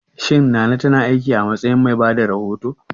Shin Nana ta na aiki a matsayin mai bada rahoto?